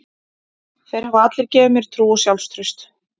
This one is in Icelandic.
Þeir hafa allir gefið mér trú og sjálfstraust.